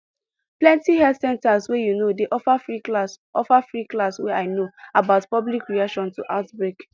plenty health center wey you know dey offer free class offer free class wey i know about public reaction to outbreak